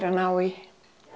að ná í